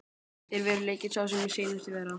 Er veruleikinn sá sem hann sýnist vera?